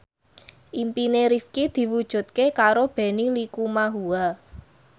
impine Rifqi diwujudke karo Benny Likumahua